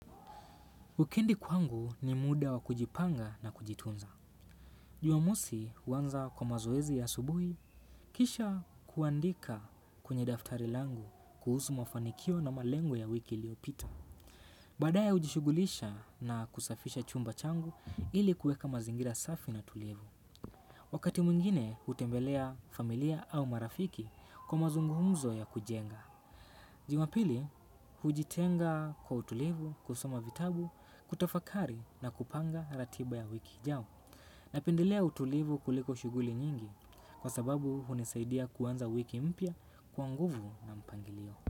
Ukindi kwangu ni muda wa kujipanga na kujitunza. Jumamosi huanza kwa mazoezi ya asubuhi, kisha kuandika kwenye daftari langu kuhusu mafanikio na malengo ya wiki iliopita. Baadaye hujishughulisha na kusafisha chumba changu ili kueka mazingira safi na tulivu. Wakati mwingine hutembelea familia au marafiki kwa mazungumzo ya kujenga. Jumapili, hujitenga kwa utulivu, kusoma vitabu, kutafakari na kupanga ratiba ya wiki ijao. Napendelea utulivu kuliko shughuli nyingi kwa sababu hunisaidia kuanza wiki mpya kwa nguvu na mpangilio.